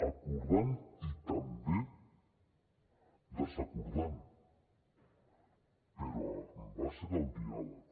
acordant i també desacordant però amb base del diàleg